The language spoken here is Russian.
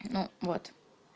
ну вот